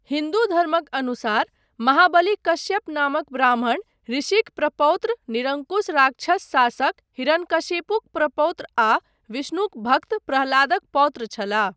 हिन्दू धर्मक अनुसार महाबली कश्यप नामक ब्राह्मण ऋषिक प्रपौत्र, निरङ्कुश राक्षस शासक हिरण्यकशिपुक प्रपौत्र आ विष्णुक भक्त प्रह्लादक पौत्र छलाह।